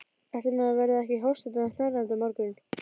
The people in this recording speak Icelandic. Ætli maður verði ekki hóstandi og hnerrandi á morgun.